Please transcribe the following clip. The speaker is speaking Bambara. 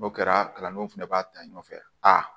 N'o kɛra kalandenw fɛnɛ b'a ta ɲɔgɔn fɛ aa